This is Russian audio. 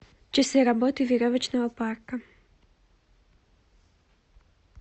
часы работы веревочного парка